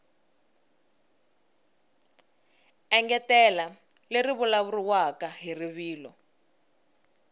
engetela leri vulavuriwaka hi rivilo